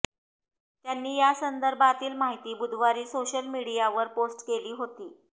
त्यांनी यासंदर्भातील माहिती बुधवारी सोशल मीडियावर पोस्ट केली होती